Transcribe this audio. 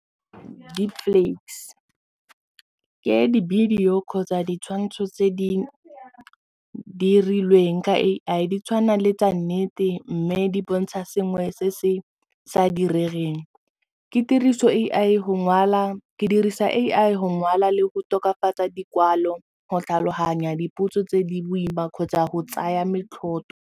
Deepfakes ke di-video kgotsa ditshwantsho tse di dirilweng ka A_I di tshwana le tsa nnete mme di bontsha sengwe se se sa diregeng ke dirisa A_I go ngwala le go tokafatsa dikwalo go tlhaloganya dipuo tse di boima kgotsa go tsaya .